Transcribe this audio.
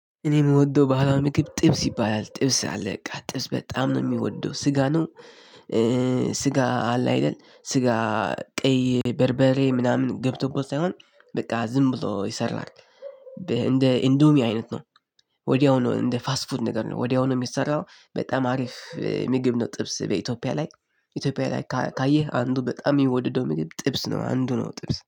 እኔ የምወደው ባህላዊ ምግብ ጥብስ ይባላል ጥብስ አለ ጥብስ በጣም ነው የምወደው ስጋ ነው። ስጋ አለ አይደል ስጋ ቀይ በርበሬ ምናምን ገብቶበት ሳይሆን በቃ ዝም ብሎ ይሰራል። እንደ ኢንዶሚ አይነት ነው። ወዲያው ነው እንደ ፋስት ፉድ ነገር ነው ወዲያው ነው የሚሰራው በጣም አሪፍ ምግብ ነው። ጥብስ በኢትዮጵያ ላይ ኢትዮጵያ ላይ ካየህ አንዱ በጣም የሚወደደው ምግብ ጥብስ ነው አንዱ ነው ጥብስ